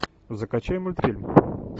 закачай мультфильм